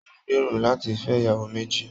Mo n gbéró láti fẹ ìyàwó méjì.